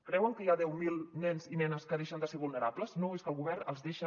creuen que hi ha deu mil nens i nenes que deixen de ser vul·nerables no és que el govern els deixa